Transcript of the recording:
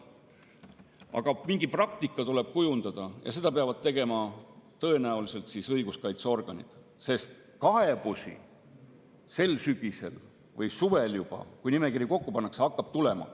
Aga mingi praktika tuleb kujundada ja seda peavad tõenäoliselt tegema õiguskaitseorganid, sest kaebusi hakkab sel sügisel või juba suvel, kui nimekiri kokku pannakse, tulema.